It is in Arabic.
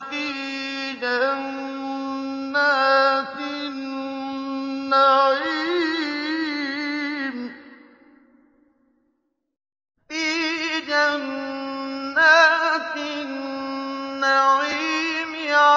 فِي جَنَّاتِ النَّعِيمِ